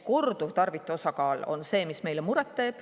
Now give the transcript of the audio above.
Korduvtarvitajate osakaal teeb meile eriti muret.